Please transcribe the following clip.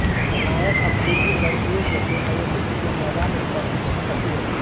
नायक अब खुद ही लड़कियों को केआइएसएस के मैदान में प्रशिक्षित करती हैं